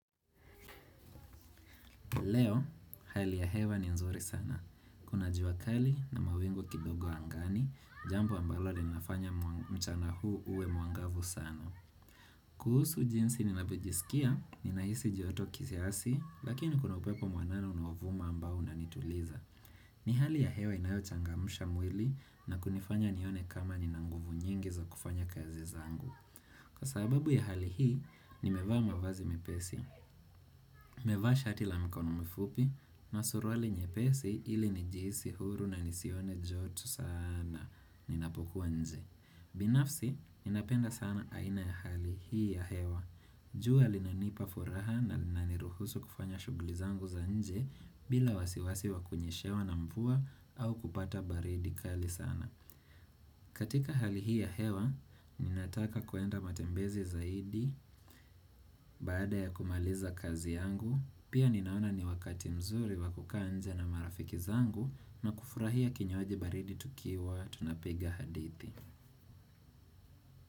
Leo, hali ya hewa ni nzuri sana. Kuna jua kali na mawingu kidogo angani, jambo ambalo linafanya mchana huu uwe mwangavu sana. Kuhusu jinsi ninavyojisikia, ninahisi joto kiasi, lakini kuna upepo mwanana unaovuma ambao unanituliza. Ni hali ya hewa inayochangamsha mwili na kunifanya nione kama nina nguvu nyingi za kufanya kazi zangu. Kwa sababu ya hali hii, nimevaa mavazi mepesi. Mevaa shati la mkono mifupi na suruali nyepesi ili nijihisi huru na nisione joto sana. Ninapokuwa nje. Binafsi, ninapenda sana aina ya hali hii ya hewa. Jua linanipa furaha na linaniruhusu kufanya shuguli zangu za nje bila wasiwasi wa kunyeshewa na mvua au kupata baridi kali sana. Katika hali hii ya hewa, ninataka kuenda matembezi zaidi baada ya kumaliza kazi yangu, pia ninaona ni wakati mzuri wakukaa nje na marafiki zangu na kufurahia kinywaji baridi tukiwa tunapiga hadithi.